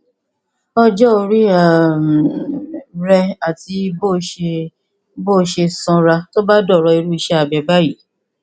ọjọ orí um rẹ àti bó o ṣe bó o ṣe sanra tó bá dọrọ irú iṣẹ abẹ yìí